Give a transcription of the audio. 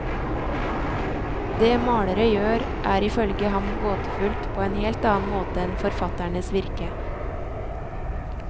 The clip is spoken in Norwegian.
Det malere gjør er ifølge ham gåtefullt på en helt annen måte enn forfatternes virke.